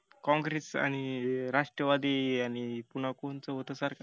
काँग्रेस आणि राष्ट्रवादी आणि पून्हा कोणत होत सरकार